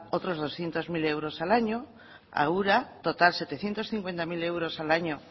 otros doscientos mil euros al año a ura total setecientos cincuenta mil al año